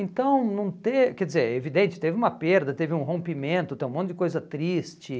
Então, não ter, quer dizer, evidente, teve uma perda, teve um rompimento, teve um monte de coisa triste.